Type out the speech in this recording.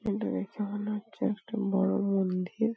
এইটা দেখে মনে হচ্ছে একটা বড় মন্দির।